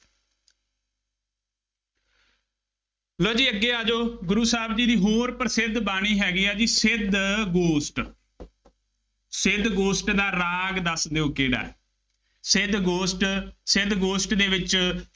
ਲਉ ਜੀ ਅੱਗੇ ਆ ਜਾਉ, ਗੁਰੂ ਸਾਹਿਬ ਜੀ ਦੀ ਹੋਰ ਪ੍ਰਸਿੱਧ ਬਾਣੀ ਹੈਗੀ ਆ ਜੀ ਸਿੱਧ ਗੋਸ਼ਟ ਸਿੱਧ ਗੋਸ਼ਟ ਦਾ ਰਾਗ ਦੱਸ ਦਿਉ, ਕਿਹੜਾ ਹੈ। ਸਿੱਧ ਗੋਸ਼ਟ, ਸਿੱਧ ਗੋਸ਼ਟ ਦੇ ਵਿੱਚ